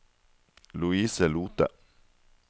Louise Lothe